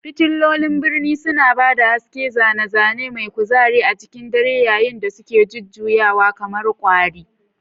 Fitilolin birni suna ba da haske, zane-zane mai kuzari a cikin dare yayin da suke jujjuyawa kamar kwari.